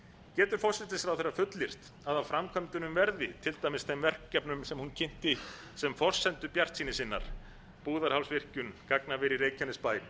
getur forsætisráðherra fullyrt að af framkvæmdunum verði til dæmis þeim verkefnum sem hún kynnti sem forsendu bjartsýni sinnar búðarhálsvirkjun gagnaver í reykjanesbæ